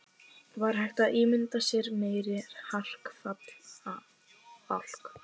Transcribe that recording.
Var hægt að ímynda sér meiri hrakfallabálk?